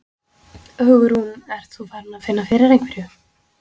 Hugrún: Ert þú farin að finna fyrir einhverju?